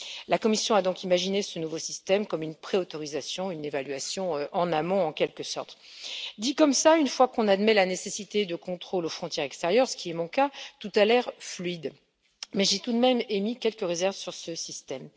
La Commission a donc imaginé ce nouveau système comme une pré autorisation, une évaluation en amont, en quelque sorte. Dit comme cela, une fois qu'on admet la nécessité de contrôles aux frontières extérieures, ce qui est mon cas, tout a l'air fluide, mais j'ai tout de même émis quelques réserves sur ce système.